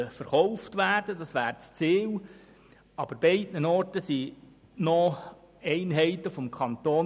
Aber an beiden Standorten befinden sich auch noch Einheiten des Kantons.